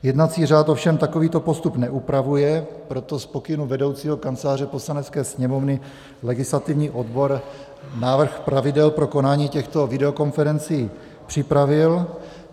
Jednací řád ovšem takovýto postup neupravuje, proto z pokynu vedoucího Kanceláře Poslanecké sněmovny legislativní odbor návrh pravidel pro konání těchto videokonferencí připravil.